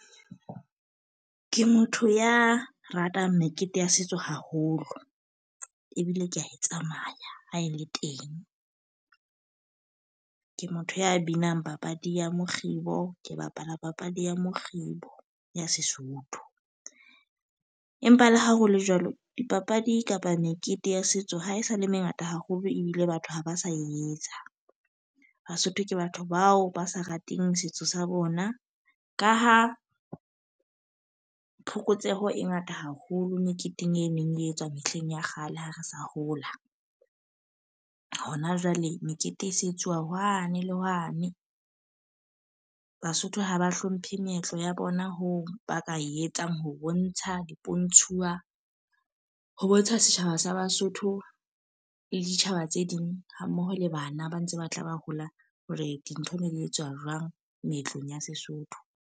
Ke motho ya ratang mekete ya setso haholo, ebile kea e tsamaya ha e le teng. Ke motho ya binang papadi ya mokgibo. Ke bapala papadi ya mokgibo ya Sesotho. Empa le ha hole jwalo, dipapadi kapa mekete ya setso ha e sa le e mengata haholo ebile batho ha ba sa etsa. Basotho ke batho bao ba sa rateng setso sa bona. Ka ha phokotseho e ngata haholo meketeng e meng e etswa mehleng ya kgale ha re sa hola. Ho na jwale mekete e se etsuwa wane le wane. Basotho haba hlomphe meetlo ya bona hoo ba ka e etsang ho bontsha dipontshwuwa, ho bontsha setjhaba sa Basotho le ditjhaba tse ding, ha mmoho le bana ba ntse ba tla ba hola hore dintho di etsuwa jwang meetlong ya Sesotho.